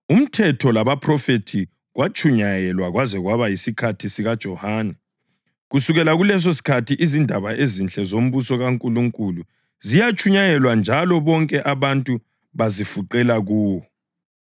“UMthetho labaPhrofethi kwatshunyayelwa kwaze kwaba yisikhathi sikaJohane. Kusukela kulesosikhathi izindaba ezinhle zombuso kaNkulunkulu ziyatshunyayelwa njalo bonke abantu bazifuqela kuwo.